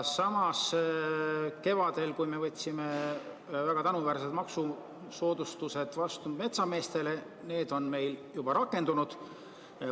Samas, kevadel vastu võetud väga tänuväärsed maksusoodustused metsameestele on meil juba rakendunud.